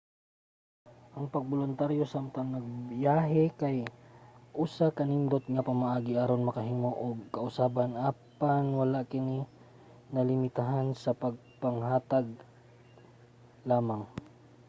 ang pagboluntaryo samtang nagbiyahe kay usa ka nindot nga pamaagi aron makahimo og kausaban apan wala kini nalimitahan sa pagpanghatag lamang